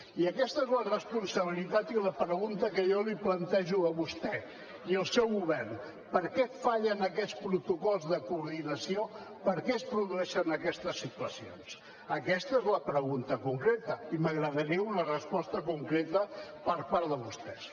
i aquesta és la responsabilitat i la pregunta que jo li plantejo a vostè i al seu govern per què fallen aquests protocols de coordinació per què es produeixen aquestes situacions aquesta és la pregunta concreta i m’agradaria una resposta concreta per part de vostès